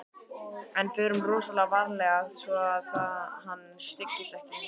En förum rosalega varlega svo að hann styggist ekki.